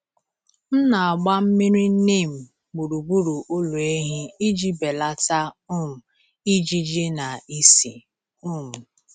M na-agba mmiri neem gburugburu ụlọ ehi iji belata um ijiji na ísì. um